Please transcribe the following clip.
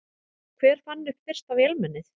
Hver fann upp fyrsta vélmennið?